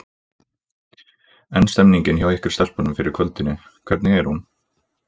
En stemningin hjá ykkur stelpunum fyrir kvöldinu, hvernig er hún?